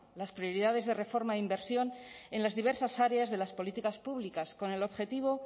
las prioridades de reforma e inversión en las diversas áreas de las políticas públicas con el objetivo